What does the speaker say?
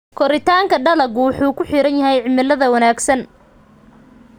Koritaanka dalaggu wuxuu ku xiran yahay cimilada wanaagsan.